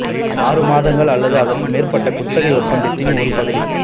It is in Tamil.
ஆறு மாதங்கள் அல்லது அதற்கு மேற்பட்ட குத்தகை ஒப்பந்தத்தின் ஒரு பகுதி